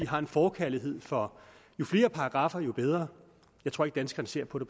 har en forkærlighed for jo flere paragraffer jo bedre jeg tror ikke danskerne ser på